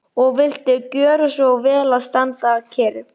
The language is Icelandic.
Að svipta sig lífi er auðvelt.